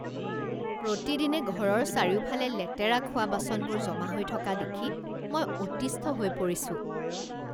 প্ৰতিদিনে ঘৰৰ চাৰিওফালে লেতেৰা খোৱা বাচনবোৰ জমা হৈ থকা দেখি মই অতিষ্ঠ হৈ পৰিছোঁ।